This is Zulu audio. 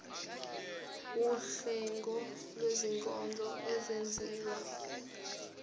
wuhlengo lwezinkonzo ezenziwa